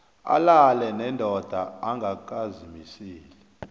alale nendoda angakazimiseli